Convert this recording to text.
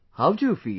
How do you feel